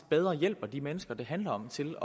bedre hjælper de mennesker det handler om til